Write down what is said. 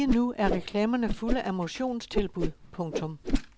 Lige nu er reklamerne fulde af motionstilbud. punktum